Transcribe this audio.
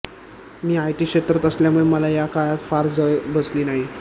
मी IT क्षेत्रात असल्यामुळे मला या काळात फार झळ बसली नाही